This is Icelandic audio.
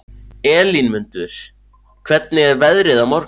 Elínmundur, hvernig er veðrið á morgun?